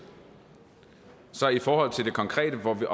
i forhold til det konkrete hvorvidt